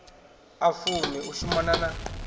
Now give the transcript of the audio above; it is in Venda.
a fumi u shumana na